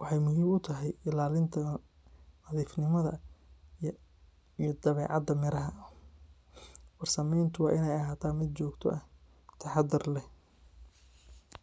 waxay muhiim u tahay ilaalinta nadiifnimada iyo dabeecadda miraha. Farsameyntu waa inay ahaataa mid joogto ah, taxaddar leh,